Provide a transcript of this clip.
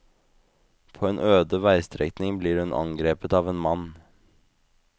På en øde veistrekning blir hun angrepet av en mann.